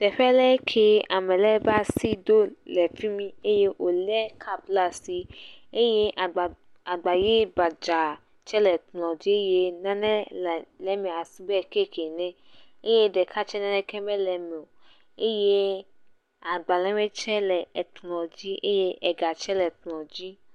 Teƒe le ke ame le ƒe asi ɖo le fimi eye wòlé kapu le asi eye agbaʋi gbadza le kplɔ dzi eye nane le eme na si be kaki ene eye ɖeka tse nan eke mele eme o.